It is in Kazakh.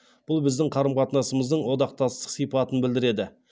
бұл біздің қарым қатынасымыздың одақтастық сипатын білдіреді